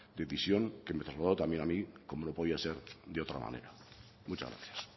decisión que me trasladó también a mí como no podía ser de otra manera muchas gracias